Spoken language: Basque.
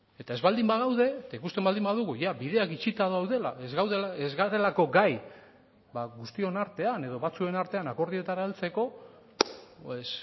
eta ez baldin bagaude eta ikusten baldin badugu jada bideak itxita daudela ez garelako gai ba guztion artean edo batzuen artean akordioetara heltzeko pues